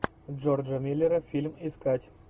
джорджа миллера фильм искать